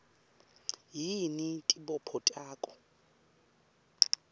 yini tibopho takho